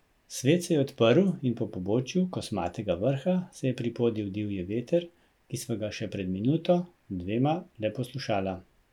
Svet se je odprl in po pobočju Kosmatega vrha se je pripodil divji veter, ki sva ga še pred minuto, dvema le poslušala.